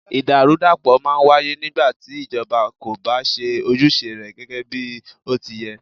Ìdàrúdàpọ̀ máà ń wáyé nígbà tí ìjọba kò bá ṣe ojúṣe rẹ gẹgẹ bí ó ti yẹ́.